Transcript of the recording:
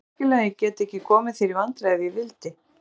Heldurðu virkilega að ég gæti ekki komið þér í vandræði ef ég vildi?